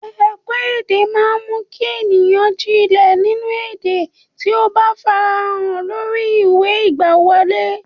Ẹ̀kọ́-èdè máa ń mú kí ènìyàn jìnlẹ̀ nínú èdè tí ó bá farahàn lórí ìwé ìgbàwọlé.